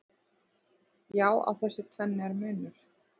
Já, á þessu tvennu er munur.